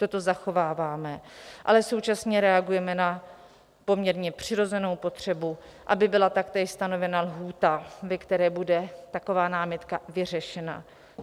Toto zachováváme, ale současně reagujeme na poměrně přirozenou potřebu, aby byla taktéž stanovena lhůta, ve které bude taková námitka vyřešena.